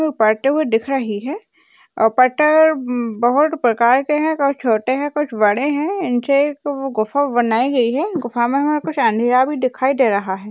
वो पाटे हुए दिख रही है और पत्थर म बहोत प्रकार के हैं कोई छोटे हैं कुछ बड़े हैं नीचे एक वो गुफा बनाई गई है गुफा में हमें कुछ अँधेरा भी दिखाई दे रहा है।